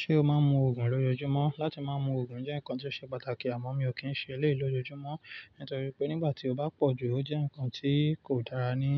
Ṣé o máa ń mu Ògùn lójoojúmọ́? Látí máa mú Ògùn jẹ́ ǹkan tí ó ṣe pàtàkì àmọ́ mi ò kí ń ṣe éleyii lójojúmọ́ nítorí pé nígbà tí ó bá pọ̀ jù ó jẹ́ ǹkan tí kò dára ní